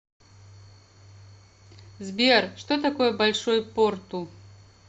сбер что такое большой порту